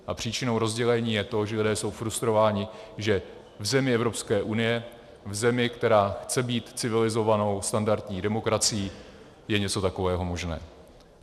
A příčinou rozdělení je to, že lidé jsou frustrováni, že v zemi Evropské unie, v zemi, která chce být civilizovanou standardní demokracií, je něco takového možné.